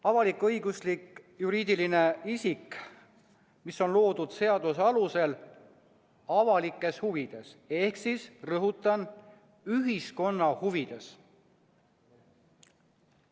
Avalik-õiguslik juriidiline isik on loodud seaduse alusel avalikes huvides ehk, rõhutan, ühiskonna huvides.